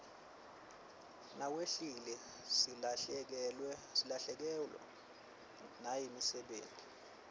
nawehlile silahlekewa nayimisebeti